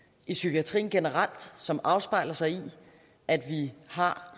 i psykiatrien generelt som afspejler sig i at vi har